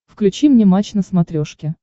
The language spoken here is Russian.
включи мне матч на смотрешке